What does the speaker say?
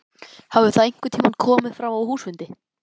Hafði það einhvern tíma komið fram á húsfundi?